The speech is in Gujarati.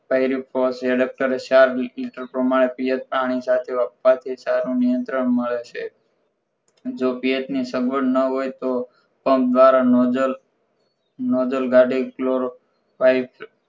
ફોર એડપટરે ચાર liter પ્રમાણે પાણી સાથે આપવાથી સારું નિયંત્રણ મળે છે જો પીએચ ની સગવડ ના હોય તો પંપ ધ્વારા નોજલ નોજલ